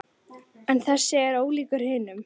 En þessi er ólíkur hinum.